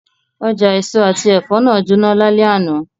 Oja eso ati ẹfọ naa jona lalẹ ana